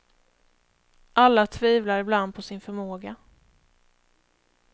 Alla tvivlar ibland på sin förmåga.